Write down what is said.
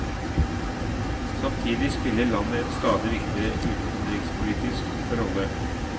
Samtidig spiller landet en stadig viktigere utenrikspolitisk rolle.